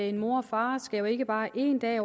en mor og far jo ikke bare én dag